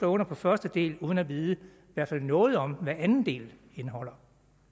under på første del uden at vide i hvert fald noget om hvad den anden del indeholder